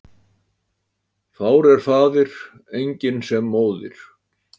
Fár er faðir, enginn sem móðir.